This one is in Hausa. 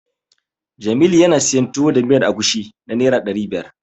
Jamilu yana siyan Tuwo da miyar agushi na Naira ɗari biyar.